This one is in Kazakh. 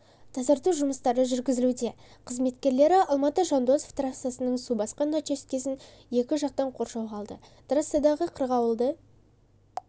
тащарту жұмыстары жүргізілуде қызметкерлері алматы-жандосов трассасының су басқан учаскесін екі жақтан қоршауға алды трассадағы қырғауылды